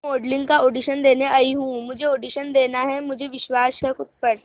मैं मॉडलिंग का ऑडिशन देने आई हूं मुझे ऑडिशन देना है मुझे विश्वास है खुद पर